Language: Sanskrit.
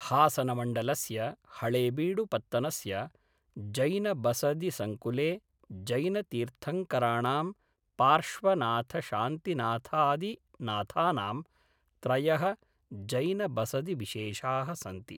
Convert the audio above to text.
हासनमण्डलस्य हळेबीडुपत्तनस्य जैनबसदिसङ्कुले जैनतीर्थङ्कराणां पार्श्वनाथशान्तिनाथादिनाथानां त्रयः जैनबसदिविशेषाः सन्ति।